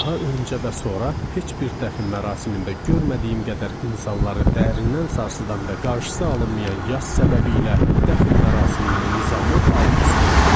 Daha öncə və sonra heç bir dəfn mərasimində görmədiyim qədər insanları dərindən sarsıdan və qarşısı alınmayan yas səbəbi ilə dəfn mərasiminin nizamı alt-üst olmuşdu.